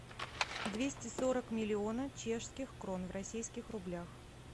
двести сорок миллионов чешских крон в российских рублях